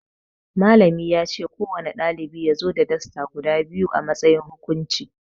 Malami yace ko wane ɗalibi yazo da Dasta guda biyu a matsayin hukunci